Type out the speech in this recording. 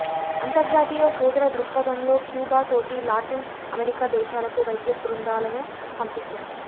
అంతర్జాతీయ సోదర దృక్పధంలో క్యూబా తోటి లాటిన్ అమెరికా దేశాలకు వైద్య బృందాలను పంపిస్తోంది